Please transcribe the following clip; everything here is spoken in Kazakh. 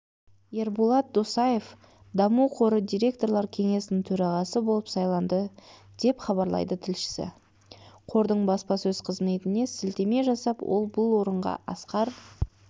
ерболат досаев даму қоры директорлар кеңесінің төрағасы болып сайланды деп хабарлайды тілшісі қордың баспасөз қызметіне сілтеме жасап ол бұл орынға асқар